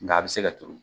Nga a bɛ se ka turu